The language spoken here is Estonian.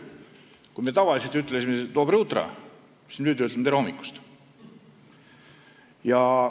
Kui me varem ütlesime "dobroje utro", siis nüüd ütleme "tere hommikust".